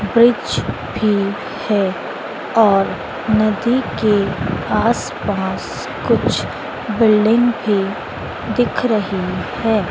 वृक्ष भी है और नदी के आसपास कुछ बिल्डिंग भी दिख रही है।